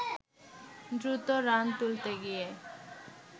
দ্রুত রান তুলতে গিয়ে